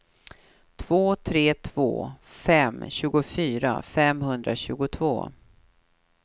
två tre två fem tjugofyra femhundratjugotvå